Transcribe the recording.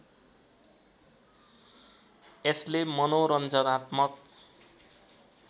यसले मनोरञ्जनात्मक